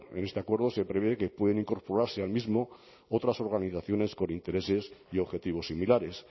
en este acuerdo se prevé que pueden incorporarse al mismo otras organizaciones con intereses y objetivos similares